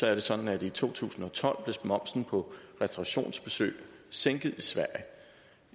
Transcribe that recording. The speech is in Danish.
er det sådan at i to tusind og tolv blev momsen på restaurationsbesøg sænket